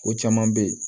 O caman bɛ yen